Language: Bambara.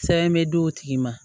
Sɛbɛn bɛ d'o tigi ma